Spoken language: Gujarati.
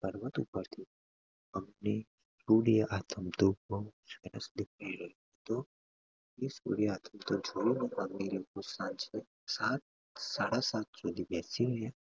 પર્વત ઉપર થી અમને સૂર્ય આથમતો બઉ જ સરસ દેખાઈ રહ્યો હતો અમે સૂર્ય આથમતો જોયો અમે સને સાત સાડા સાત સુધી બેસી રહ્યા